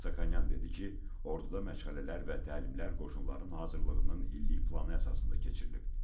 Lyobomnonyan dedi ki, orduda məşğələlər və təlimlər qoşunların hazırlığının illik planı əsasında keçirilib.